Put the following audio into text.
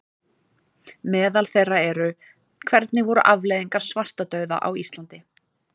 Meðal þeirra eru: Hvernig voru afleiðingar svartadauða á Íslandi?